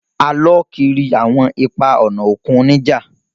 A lọ kiri awọn ipa-ọna okun nija